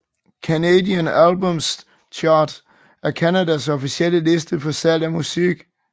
Canadian Albums Chart er Canadas officielle liste for salg af musik